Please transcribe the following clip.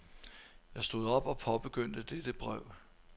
Jeg stod op og påbegyndte dette brev.